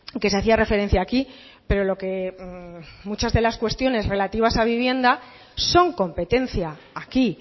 que se hacía referencia aquí pero lo que muchas de las cuestiones relativas a vivienda son competencia aquí